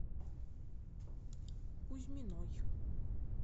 кузьминой